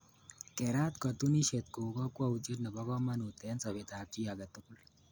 Kerat katunisyet ko kokwoutiet nebo komonut eng sobeetab chi age tugul.